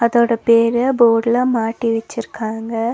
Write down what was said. இதோட பேர போட்ல மாட்டி வெச்சிருக்காங்க.